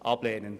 Ablehnen!